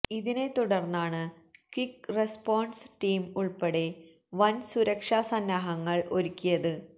ഇതിനെ തുടര്ന്നാണ് quick response team ഉള്പ്പെടെ വന് സുരക്ഷാ സന്നാഹങ്ങള് ഒരുക്കിയത്